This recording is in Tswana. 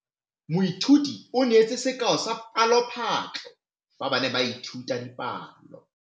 Moithuti o neetse sekaô sa palophatlo fa ba ne ba ithuta dipalo.